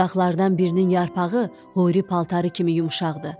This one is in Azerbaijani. Budaqlardan birinin yarpağı xovlu paltarı kimi yumşaqdır.